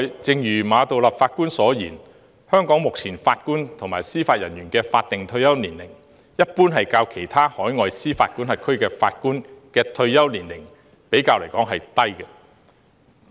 正如馬道立法官所言，目前香港法官及司法人員的法定退休年齡，一般較其他海外司法管轄區的法官的退休年齡為低。